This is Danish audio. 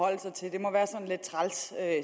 at